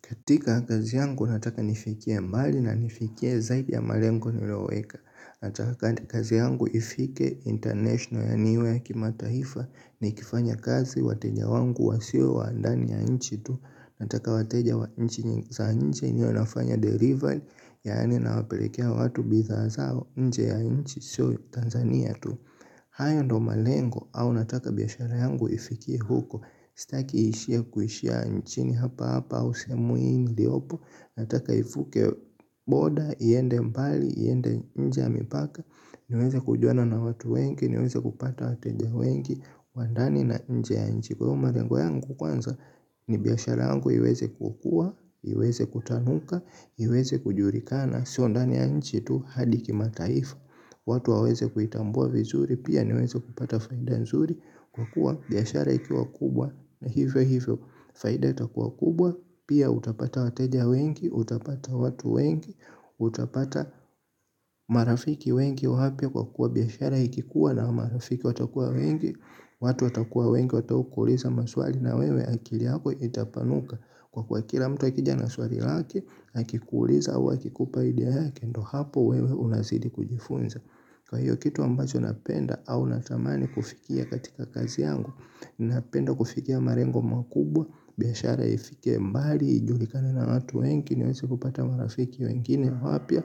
Katika kazi yangu nataka nifikie mbali na nifikie zaidi ya malengo niliyoweka. Nataka kazi yangu ifike international na niwe kimataifa nikifanya kazi wateja wangu wasiwe wa ndani ya nchi tu. Nataka wateja wa nchi za nje niwe nafanya delivery yaani nawapelekea watu bidhaa zao nje ya ichi sio Tanzania tu. Hayo ndiyo malengo au nataka biashara yangu ifikie huko. Sitaki iishie kuishia nchini hapa hapa au sehemu hii niliyopo nataka ivuke border iende mbali iende nje ya mipaka. Niweze kujuana na watu wengi. Niweze kupata wateja wengi. Wa ndani na nje ya nchi kwa hiyo malengo yangu kwanza ni biashara yangu iweze kukua iweze kutanuka iweze kujulikana sio ndani ya nchi tu hadi kimataifa. Watu waweze kuitambua vizuri, pia niweze kupata faida nzuri, kwa kuwa biashara ikiwa kubwa, na hivyo hivyo, faida itakuwa kubwa, pia utapata wateja wengi, utapata watu wengi, utapata marafiki wengi wapya kwa kuwa biashara ikikuwa na marafiki watakuwa wengi, watu watakuwa wengi, watu watakuwa wengi, watakaokuuliza maswali na wewe akili yako itapanuka. Kwa kuwa kila mtu akija na swali lake, na akikuuliza au akikupa idea yake, ndiyo hapo wewe unazidi kujifunza. Kwa hiyo kitu ambacho napenda au natamani kufikia katika kazi yangu. Napenda kufikia malengo makubwa, biashara ifike mbali, ijulikane na watu wengi, niweze kupata marafiki wengine wapya,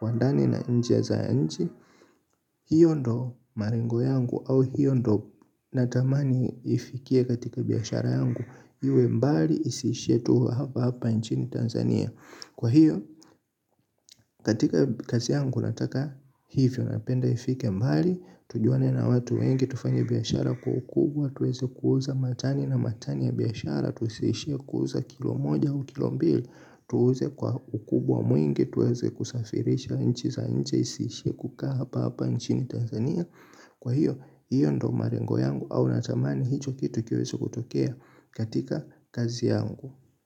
wa ndani na nje za nchi. Hiyo ndiyo malengo yangu au hiyo ndiyo natamani ifikie katika biashara yangu. Iwe mbali isishie tu hapahapa nchini Tanzania. Kwa hiyo katika kazi yangu nataka hivyo napenda ifike mbali. Tujuane na watu wengi tufanye biashara kwa ukubwa na tuweze kuuza matani na matani ya biashara. Tusiishie kuuza kilo moja au kilo mbili. Tuuze ukubwa mwingi. Tuweze kusafirisha nchi za nje isishie kukaa hapahapa nchini Tanzania. Kwa hiyo, hiyo ndiyo malengo yangu au natamani hicho kitu kiweze kutokea katika kazi yangu.